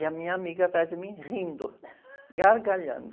E a minha amiga atrás de mim rindo, gargalhando.